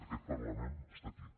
aquest parlament està aquí